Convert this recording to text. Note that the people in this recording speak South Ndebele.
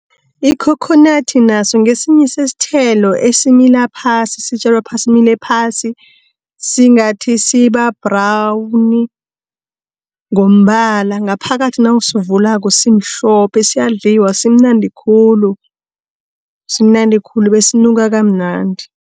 Ikhokhonadi naso ngesinye sesithelo esimila phasi, sitjalwa phasi, simile phasi, singathi siba-brawuni ngombala, ngaphakathi nawusivulako simhlophe. Siyadliwa, simnandi khulu. Simnandi khulu besinuka kamnandi.